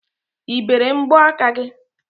I bere mbọaka gị?